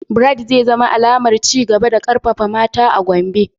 Bright zai zama alamar ci gaba da karfafawa mata a Gombe.